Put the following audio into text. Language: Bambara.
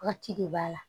Wagati de b'a la